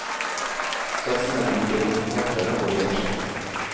Satsene er like for forfattere og oversettere.